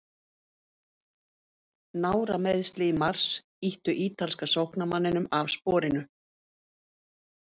Nárameiðsli í mars ýttu ítalska sóknarmanninum af sporinu.